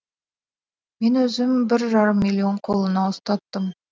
мен өзім бір жарым миллион қолына ұстаттым